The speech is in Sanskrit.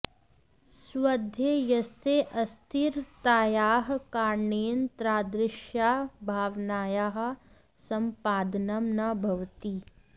स्वध्येयस्य अस्थिरतायाः कारणेन तादृश्याः भावनायाः सम्पादनं न भवति